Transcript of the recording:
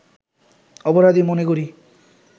অপরাধী মনে করি